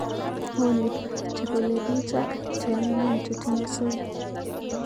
Olly chepelepich ak cheanyinyen chetinye soy.